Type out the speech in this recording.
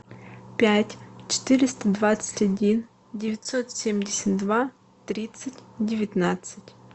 пять четыреста двадцать один девятьсот семьдесят два тридцать девятнадцать